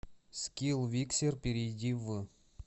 скилл виксер перейди в